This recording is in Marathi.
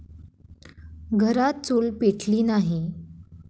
घरात चूल पेटली नाही.